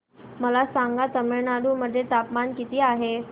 मला सांगा तमिळनाडू मध्ये तापमान किती आहे